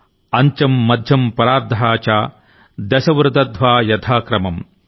అంత్యం మధ్యం పరార్ధః చ దశ వృదధ్వా యధా క్రమమ్